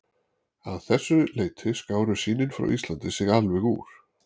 Að þessu leyti skáru sýnin frá Íslandi sig alveg úr.